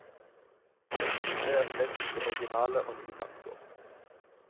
Dette er slett ikke originale og nye tanker.